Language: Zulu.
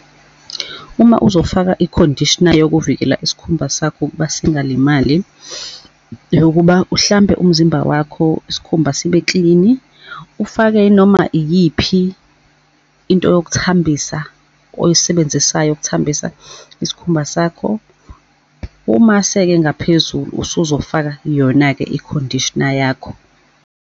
Uma uzofaka i-conditioner yokuvikela isikhumba sakho ukuba singalimali, yokuba uhlambe umzimba wakho, isikhumba sibe-clean-i, ufake inoma iyiphi into ngokuthambisa oyisebenzisayo ukuthambisa isikhumba sakho. Umase-ke ngaphezulu usuzofaka yona-ke i-conditioner yakho.